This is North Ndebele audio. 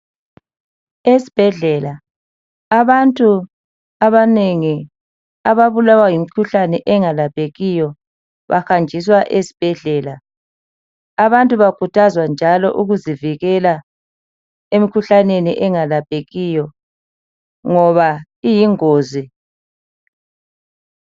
Esibhedlela abantu abanengi ababulawa yimikhuhlane engalaphekiyo bahanjiswa esibhedlela. Abantu bakhuthazwa njalo ukuzivikela emikhuhlaneni engalaphekiyo ngoba iyingozi.